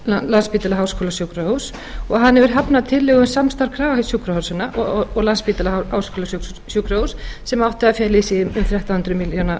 landspítala á háskólasjúkrahúss og hann hefur hafnað tillögu um samstarf kragasjúkrahúsanna og landspítala tisltrik háskólasjúkrahúss sem átti að fela í